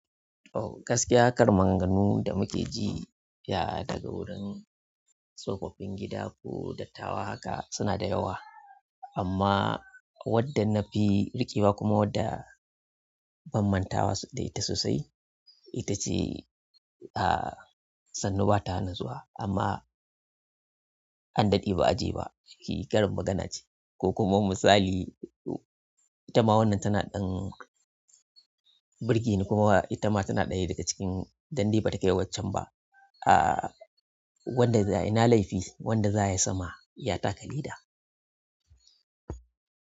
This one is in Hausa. Ooh gaskiya karin maganganu da muke ji, ya daga wurin tsofaffin gida ko dattawa haka suna da yawa. Amma wadda nafi riƙewa kuma wadda ban mantawa da ita sosai. Ita ce, ah sannu ba ta hana zuwa amma an daɗe ba a je ba. Shi karin magana ce ko kuma misali, itama wannan tana ɗan birge ne kuma itama tana ɗaya daga cikin dande ba ta kai waccen ba. Ah wanda zayi ina laifi, wanda za ya sama ya taka leda.